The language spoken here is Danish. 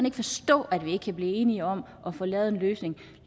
ikke forstå at vi ikke kan blive enige om at få lavet en løsning